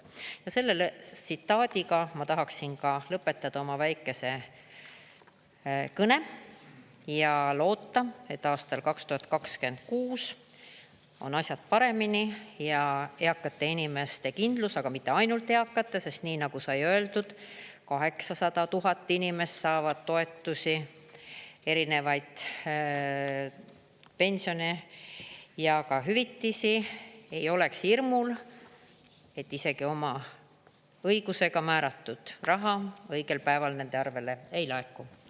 " Selle tsitaadiga ma tahaksin ka lõpetada oma väikese kõne ja loota, et aastal 2026 on asjad paremini ja eakate inimeste kindlus, aga mitte ainult eakate, sest nii nagu sai öeldud, 800 000 inimest saavad toetusi, erinevaid pensione ja hüvitisi, ei oleks hirmul, et isegi oma õigusega määratud raha õigel päeval nende arvele ei laeku.